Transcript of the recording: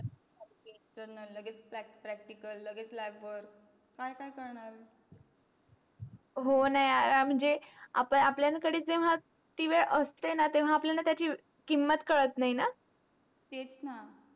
होण लगेच practical लगेच lab वर काय काय करणा हो न यार मंझे आपल्यान कडे ती वेड असतेन तेव्हा त्याची किमत कढत नाही ना तेच ना.